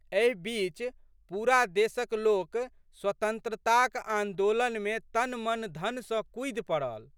एहि बीच पूरा देशक लोक स्वतंत्रताक आन्दोलनमे तनमनधन सँ कूदि पड़ल।